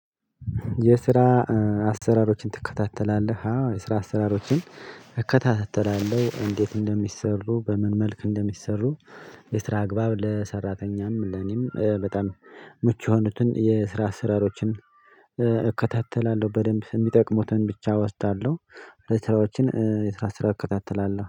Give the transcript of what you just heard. የስራ አሰራሮችን ትከታተላለህ? አዎ የስራ አሰራሮችን እከታተላለሁ እንዴት እንደሚሰሩ በምን መልክ እንደሚሰሩ። የስራ አግባብ ለሰራተኛም ለኔም በጣም ምቹ የሆኑትን የስራ አስራሮችን እከታተላለሁ በደንብ የሚጠቅሙትን ብቻ እወስዳለሁ። ስራዎችን የስራ ስራ እከታተላለሁ